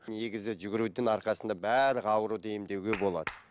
негізі жүгірудің арқасында барлық ауруды емдеуге болады